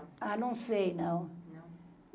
Ah, não sei, não. Não